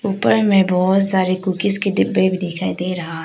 ऊपर में बहुत सारे कुकीज के डिब्बे भी दिखाई दे रहा है।